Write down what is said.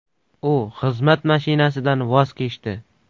U xizmat mashinasidan voz kechdi.